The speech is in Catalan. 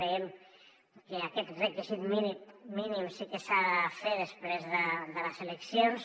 creiem que aquest requisit mínim sí que s’ha de fer després de les eleccions